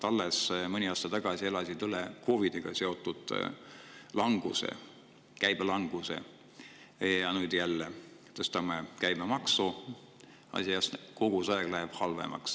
Alles mõni aasta tagasi elasid nad üle COVID‑iga seotud käibelanguse ja nüüd me jälle tõstame käibemaksu, kogu aeg läheb asi halvemaks.